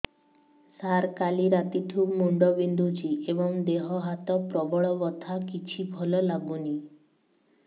ସାର କାଲି ରାତିଠୁ ମୁଣ୍ଡ ବିନ୍ଧୁଛି ଏବଂ ଦେହ ହାତ ପ୍ରବଳ ବଥା କିଛି ଭଲ ଲାଗୁନି